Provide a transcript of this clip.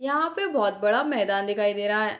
यहां पे बहुत बड़ा मैदान दिखाई दे रहा है।